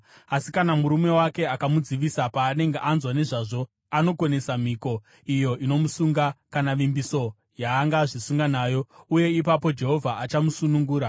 Asi kana murume wake amudzivisa paanenge anzwa nezvazvo, anokonesa mhiko iya inomusunga, kana vimbiso yaangazvisunga nayo, uye ipapo Jehovha achamusunungura.